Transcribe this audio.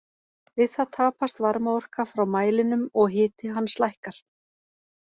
Við það tapast varmaorka frá mælinum og hiti hans lækkar.